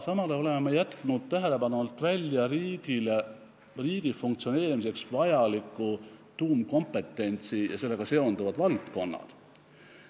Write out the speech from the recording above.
Samal ajal oleme jätnud tähelepanu alt välja riigi funktsioneerimiseks vajaliku tuumkompetentsi ja sellega seonduvad valdkonnad.